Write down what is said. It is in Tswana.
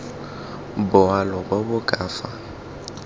boalo bo bo ka fa